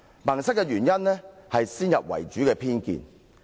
"萌塞"的原因，是先入為主的偏見。